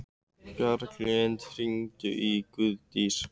Bjarglind, hringdu í Guðdísi.